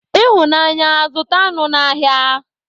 Ịhụnanya, zụta anụ n'ahịa.